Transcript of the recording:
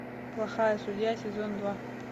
плохая судья сезон два